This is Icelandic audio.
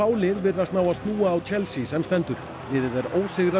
lið virðast ná að snúa á Chelsea sem stendur liðið er ósigrað